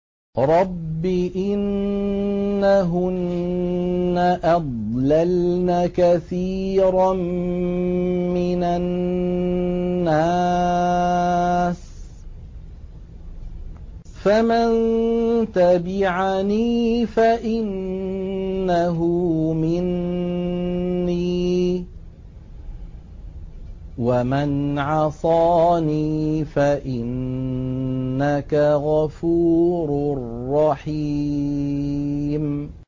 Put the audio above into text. رَبِّ إِنَّهُنَّ أَضْلَلْنَ كَثِيرًا مِّنَ النَّاسِ ۖ فَمَن تَبِعَنِي فَإِنَّهُ مِنِّي ۖ وَمَنْ عَصَانِي فَإِنَّكَ غَفُورٌ رَّحِيمٌ